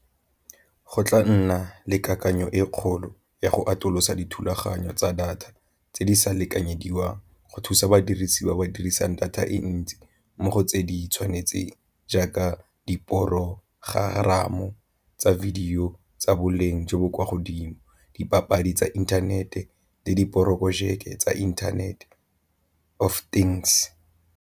Go tla nna le kakanyo e kgolo ya go atolosa dithulaganyo tsa data tse di sa lekanyediwang go thusa badirisi ba ba dirisang data e ntsi mo go tse di tshwanetseng, jaaka diporogeramo tsa video tsa boleng jo bo kwa godimo, dipapadi tsa inthanete le diporojeke tsa inthanete of things.